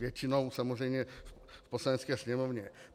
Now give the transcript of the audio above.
Většinou samozřejmě v Poslanecké sněmovně.